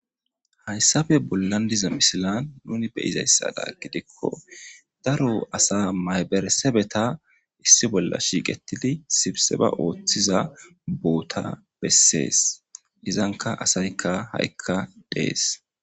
Haysape bolan de'iza misilen nuni be'izasato gidiko daro asa mayberesebeta issi bola shiiqetidi sibseba oothiza boota beses izanka asayka ha'ika dees.